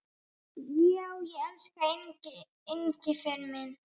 Já, elsku Engifer minn.